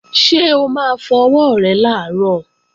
Ṣé o máa fọ ọwọ́ rẹ làárọ̀?